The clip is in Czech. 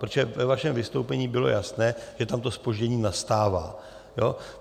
Protože ve vašem vystoupení bylo jasné, že tam to zpoždění nastává.